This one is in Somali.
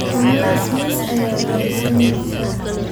Mamadhas miiz aya radsaneysa.